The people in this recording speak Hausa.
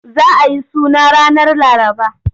Za a yi suna ranar Laraba.